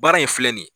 Baara in filɛ nin ye